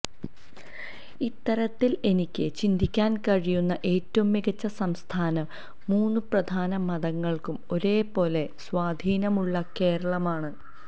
ഇത്തരത്തില് എനിക്ക് ചിന്തിക്കാന് കഴിയുന്ന ഏറ്റവും മികച്ച സംസ്ഥാനം മൂന്ന് പ്രധാന മതങ്ങള്ക്കും ഒരുപോലെ സ്വാധീനമുള്ള കേരളമാണ്